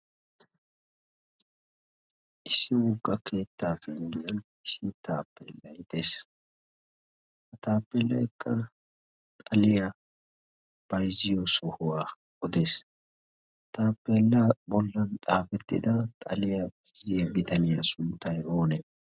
issi wugga keettaa pinggiyan issi taappeellaytees. ha taappeelaekka xaliyaa payzziyo sohuwaa odees. taappeellaa bollan xaafettida xaliyaa bayzziya bitaniyaa sunttay oonee?